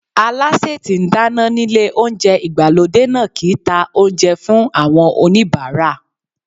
Alásè tí ń dáná nílé oúnjẹ ìgbàlódé náà kì í ta oúnjẹ fún àwọn oníbàárà.